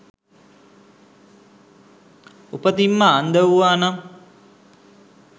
උපතින්ම අන්ධ වූවානම්